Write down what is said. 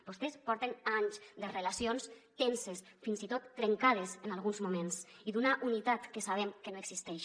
vostès porten anys de relacions tenses fins i tot trencades en alguns moments i d’una unitat que sabem que no existeix